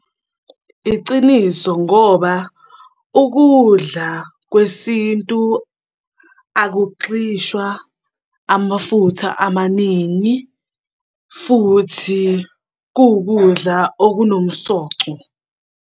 Iciniso ngoba ukudla kwesintu akugxishwa amafutha amaningi, futhi kuwukudla okunomsoco.